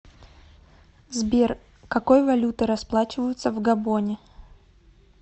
сбер какой валютой расплачиваются в габоне